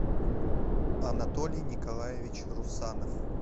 анатолий николаевич русанов